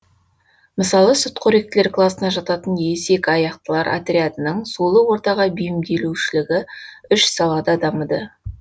мысалы сүтқоректілер класына жататын есекаяқтылар отрядының сулы ортаға бейімдеушілігі үш салада дамыды